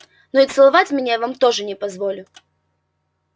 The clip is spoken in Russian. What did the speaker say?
но и целовать меня я вам тоже не позволю